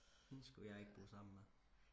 hende skulle jeg ikke gå sammen med